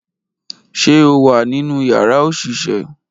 Ṣe o wa ninu yara oṣiṣẹ?